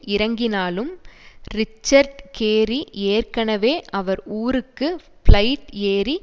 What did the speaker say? இறங்கினாலும் Richard Gary ஏற்கனவே அவர் ஊருக்கு ப்ளைட் ஏறி